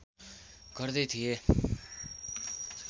गर्दै थिए